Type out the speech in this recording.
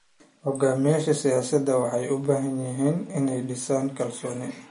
Hogaamiyayaasha siyaasadeed waxay u baahnaayeen inay dhisaan kalsooni.